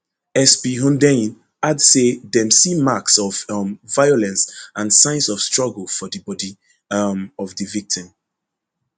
sp hundeyin add say dem see marks of um violence and signs of struggle for di body um of di victim